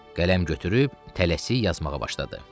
Qələm götürüb tələsi yazmağa başladı.